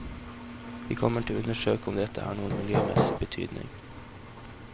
Vi kommer til å undersøke om dette har noen miljømessig betydning.